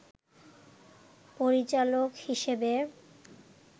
পরিচালক হিসেবে